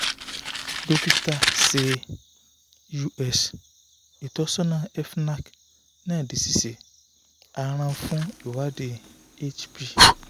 dokita ṣe us itọsọna fnac na di sise a rán fun iwadi hp